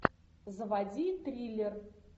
заводи триллер